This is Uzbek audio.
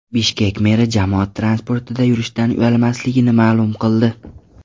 Bishkek meri jamoat transportida yurishdan uyalmasligini ma’lum qildi.